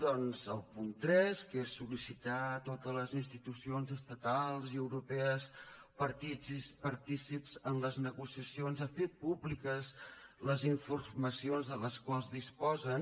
doncs el punt tres que és sol·licitar a totes les institucions estatals i europees partícips en les negociacions a fer públiques les informacions de les quals disposen